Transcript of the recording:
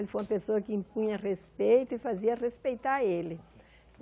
Ele foi uma pessoa que impunha respeito e fazia respeitar ele.